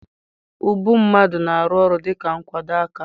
Ubu mmadụ na-arụ ọrụ dịka nkwado aka.